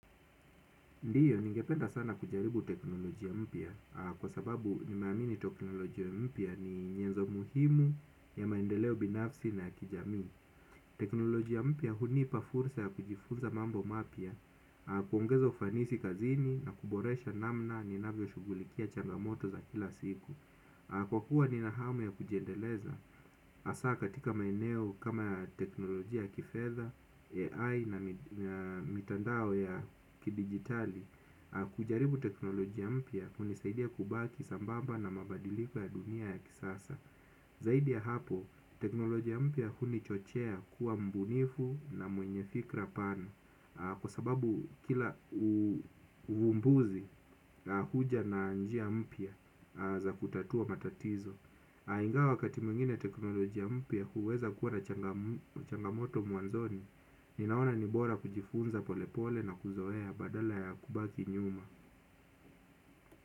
Ndiyo ningependa sana kujaribu teknolojia mpya kwa sababu ninamini teknolojia mpya ni za muhimu ya maendeleo binafsi na kijamii. Teknolojia mpya hunipa fursa ya kujifurza mambo mapya, kuongeza ufanisi kazini na kuboresha namna ni navyo shugulikia changamoto za kila siku. Kwa kuwa nina hamu ya kujiendeleza hasa katika maeneo kama teknolojia ya kifedha AI namitandao ya kidijitali kujaribu teknolojia mpya hunisaidia kubaki sambamba na mabadiliko ya dunia ya kisasa. Zaidi ya hapo, teknolojia mpya kunichochea kuwa mbunifu na mwenye fikra pana. Kwa sababu kila uvumbuzi huja na njia mpya za kutatua matatizo. Aingawa wakati mwingine teknolojia mpya huweza kuwana changamoto mwanzoni. Ninaona nibora kujifunza polepole na kuzoea badala ya kubaki nyuma.